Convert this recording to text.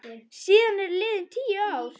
Síðan eru liðin tíu ár.